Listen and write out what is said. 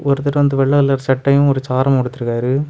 ஒருத்தர் வந்து வெள்ளை கலர் சட்டையும் ஒரு சாரமும் உடுத்திருக்காரு.